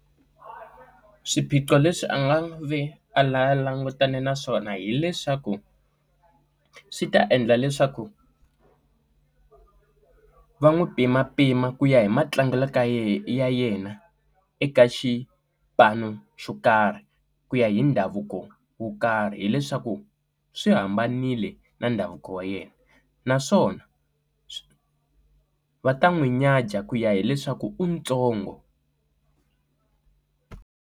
Swiphiqo leswi a nga ve a la langutane naswona hileswaku swi ta endla leswaku va n'wi pima pima ku ya hi matlangelo ka yena eka xipano xo karhi ku ya hi ndhavuko wo karhi hileswaku swi hambanile na ndhavuko wa yena naswona va ta n'wi nyadzha ku ya hileswaku u ntsongo.